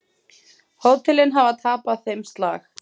Hótelin hafi tapað þeim slag.